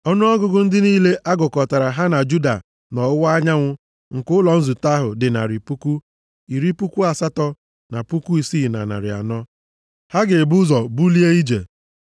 Ọnụọgụgụ ndị niile a gụkọtara ha na Juda nʼọwụwa anyanwụ nke ụlọ nzute ahụ dị narị puku, iri puku asatọ na puku isii na narị anọ (186,400). Ha ga-ebu ụzọ bulie ije.